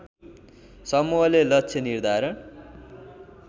समूहले लक्ष्य निर्धारण